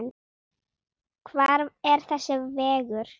Hvar er þessi vegur?